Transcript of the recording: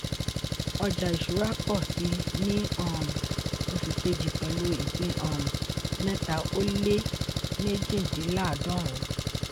ọjà ìṣúra pọ̀ síi ní um oṣù kejì pẹ̀lú ìpín um mẹ́tà ó lé mejidinláàdọ́run.